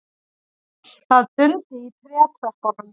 Það dundi í trétröppunum.